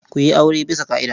Ku yi aure bisa ƙa'ida.